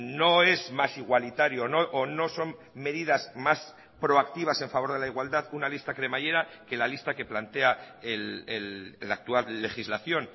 no es más igualitario o no son medidas más proactivas a favor de la igualdad una lista cremallera que la lista que plantea la actual legislación